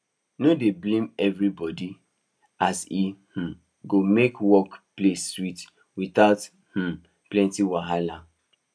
no dey blame everibodi as e um go make work place sweet without um plenty wahala